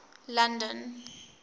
london